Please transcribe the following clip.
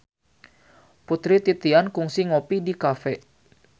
Putri Titian kungsi ngopi di cafe